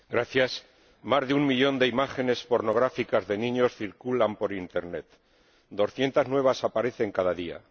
Señor Presidente, más de un millón de imágenes pornográficas de niños circulan por internet, 200 nuevas aparecen cada día.